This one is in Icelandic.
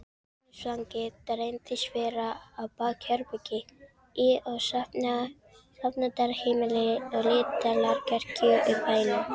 Heimilisfangið reyndist vera bakherbergi í safnaðarheimili lítillar kirkju í bænum.